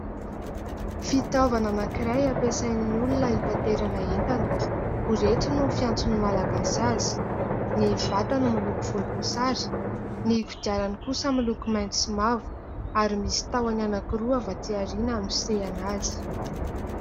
Fitaovana anankiray ampiasain'ny olona hitaterana entana, "borety" no fiantson'ny Malagasy azy. Ny vatany miloko volomboasary, ny kodiarany kosa miloko mainty sy mavo ary misy tahony anankiroa avy aty aoriana hanosehana azy.